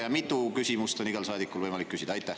Ja mitu küsimust on igal saadikul võimalik küsida?